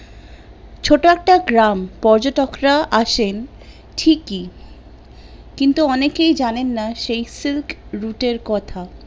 ছোট একটা গ্রাম পর্যটকরা আসেন ঠিক ই কিন্তু অনেকেই জানেন না সেই silk route এর কথা